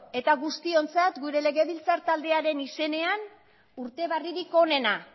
eta guztiontzat gure legebiltzar taldearen izenean urte berririk onena